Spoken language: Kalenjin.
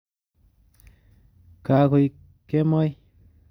Kakoik kemoi